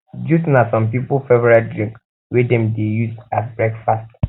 juice na some pipo favourite um drink wey dem dey use as breakfast um